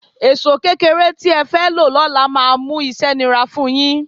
Èṣó kékeré tí ẹ fẹ́ lo lọ́la máa múṣẹ́ nira fun yín